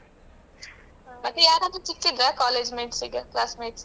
ಮತ್ತೆ ಯಾರಾದ್ರೂ ಸಿಕ್ಕಿದ್ರಾ collegemates ಈಗ classmates.